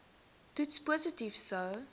toets positief sou